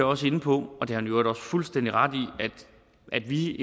også inde på og det har han i øvrigt også fuldstændig ret i at vi